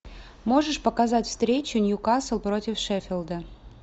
можешь показать встречу ньюкасл против шеффилда